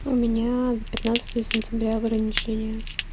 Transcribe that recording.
у меня до пятнадцатого сентября ограничение